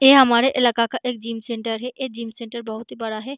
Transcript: ऐ हमारे इलाका का एक जिम सेंटर है ऐ जिम सेंटर बहुत ही बड़ा है।